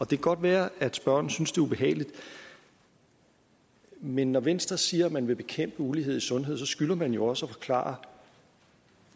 kan godt være at spørgeren synes det er ubehageligt men når venstre siger at man vil bekæmpe ulighed i sundhed så skylder man jo også at forklare